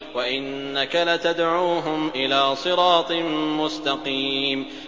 وَإِنَّكَ لَتَدْعُوهُمْ إِلَىٰ صِرَاطٍ مُّسْتَقِيمٍ